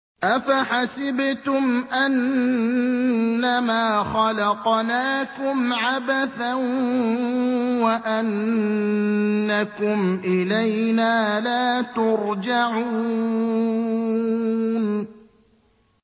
أَفَحَسِبْتُمْ أَنَّمَا خَلَقْنَاكُمْ عَبَثًا وَأَنَّكُمْ إِلَيْنَا لَا تُرْجَعُونَ